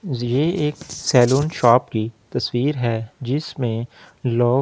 ये एक salon shop की तस्‍वीर है जिसमें लोग --